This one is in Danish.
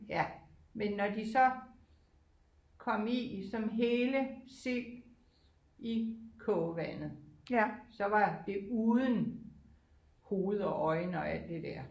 Ja men når de så kom i som hele sild i kogevandet så var det uden hoved og øjne og alt det er